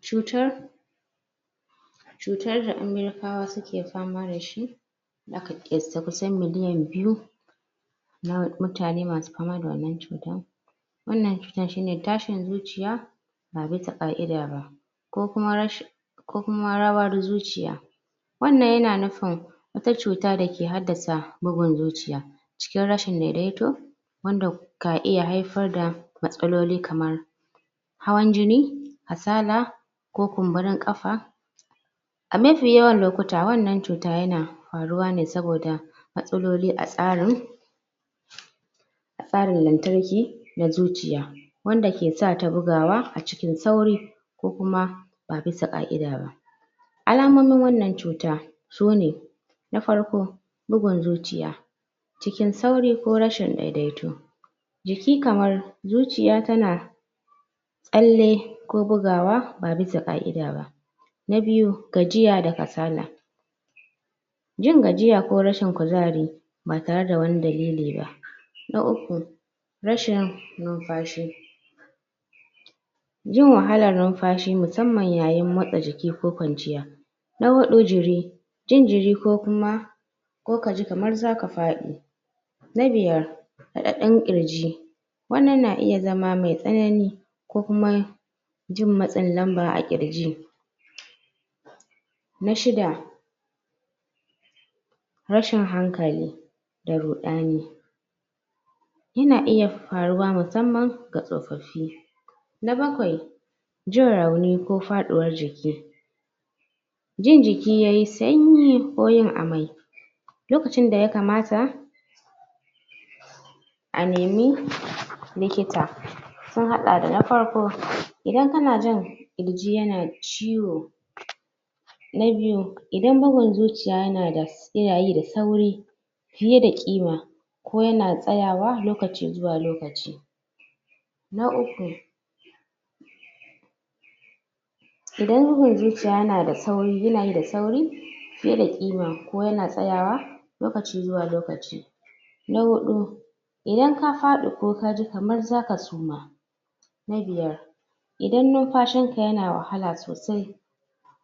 cutar cutar da americawa suke fama dashi kusan miliyan biyu na mutane masu fama da wannan cutan wannan cutn shine tashin zuciya ba bisa ka'ida ba ko kuma ko kuma rawar zuciya wannan yana nufin wata cuta dake haddasa bugun zuciya cikin rashin wanda ka iya haifar da matsaloli kamar hawan jini kasala ko kumburin kafa a mafi yawan lokuta wannan cuta yana faruwa ne saboda matsaloli a tsarin a tsarin na zuciya wanda ke sata bugawa a cikin sauri ko kuma ba bisa ka'ida ba alamomin wannan cuta sune na farko bugun zuciya cikin sauri ko rashi daidaitu jiki kamar zuciya tana tsalle ko bugawa ba bisa ka'ida ba na biyu gajiya da kasala jin gajiya ko rashin kuzari ba tare da wani dalili ba na uku rashin numfashi jin wahalar numfashi musamman yayin motsa jiki ko kwanciya na hudu jiri jin jiri ko kuma ko kaji kamar zaka fadi na biyar radadin kirji wannan na iya zama mai tsanani ko kuma jin matsin lamba a kirji na shida tashin hankali da rudani yana iya faruwa musamman ga tsofaffi na bakwai jin rauni ko faduwar jiki jin jiki yayi sanyi ko yin amai lokacin da yakamta a nemi likita sun hada da na farko idan kana jin kirji yana ciwo na biyu idan bugun zuciya yana da yana yi da sauri fiye da kima ko yana tsayawa lokaci da lokaci na uku idan bugun zuciya yana yi da sauri fiye da kima ko yana tsayawa lokaci zuwa lokaci na hudu idan ka fadi ko kaji kamar zaka suma na biyar idan numfashin ka yana wahala sosai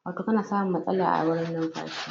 wato kana samun matsala a wurin numfashi